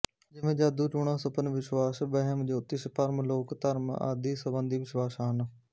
ਜਿਵੇਂ ਜਾਦੂਟੂਣਾ ਸੁਪਨ ਵਿਸ਼ਵਾਸ ਵਹਿਮ ਜੋਤਿਸ਼ ਭਰਮ ਲੋਕ ਧਰਮ ਆਦਿ ਸੰਬੰਧੀ ਵਿਸ਼ਵਾਸ ਹਨ